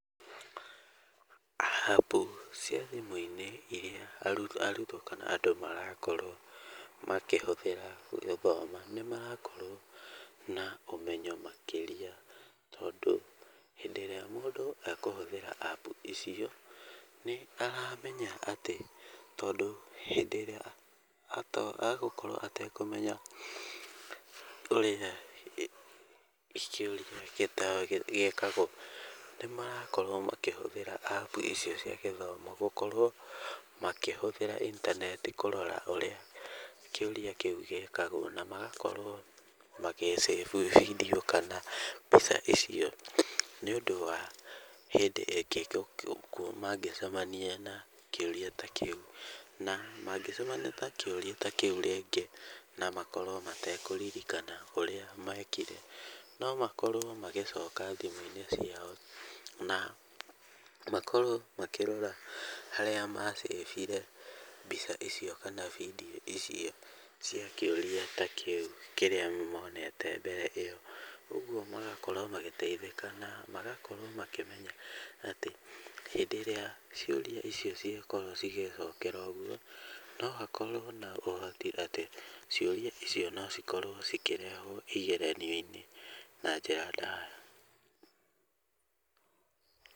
App cia thimũ-inĩ irĩa arutwo kana andũ marakorwo makĩhũthĩra gũthoma nĩ marakorwo na ũmenyo makĩria tondũ hĩndĩ ĩrĩa mũndũ akũhũthĩra app icio nĩ aramenya atĩ tondũ hĩndĩ ĩrĩa agũkorwo agũkorwo atekũmenya ũrĩa kĩuria gĩkagwo, nĩ marakorwo makĩhũthĩra app icio cia gĩthomo, gũkorwo makĩhũthĩra intaneti kũrora ũrĩa kĩuria kĩu gĩkagwo na magakorwo magĩ save video kana mbica icio nĩ ũndũ wa hĩndĩ ĩngĩ mangĩcemania na kĩũria ta kĩu. Na mangĩcemania ta kĩũria ta kĩu rĩngĩ na makorwo matekũririkana ũrĩa mekire, no makorwo magĩcoka thimũ-inĩ ciao na makorwo makĩrora ũrĩa harĩa ma saved mbica icio kana video icio cia kĩũria ta kĩu kĩrĩa monete mbere ĩyo. Ũguo magakorwo magĩteithĩka na magakorwo makĩmenya atĩ hĩndĩ ĩrĩa ciũria icio ciakorwo cĩgĩcokerwo ũguo, no hakorwo na ũhoti atĩ ciũria icio no cikorwo cikĩrehwo igeranio-inĩ na njĩra ndaya.